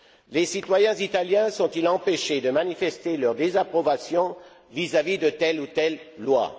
Les citoyens italiens sont ils empêchés de manifester leur désapprobation vis à vis de telle ou telle loi?